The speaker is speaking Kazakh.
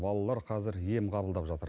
балалар қазір ем қабылдап жатыр